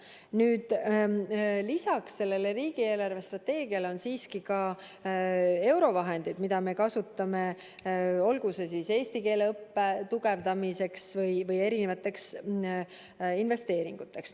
Nüüd lisaks sellele riigi eelarvestrateegiale on siiski ka eurovahendid, mida me kasutame, olgu siis eesti keele õppe tugevdamiseks või investeeringuteks.